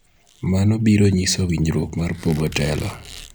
mano biro nyiso winjruok mar pogo telo